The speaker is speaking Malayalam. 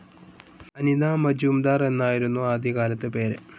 അനിത മജുംദാർ എന്നായിരിന്നു ആദ്യകാലത്തെ പേര്.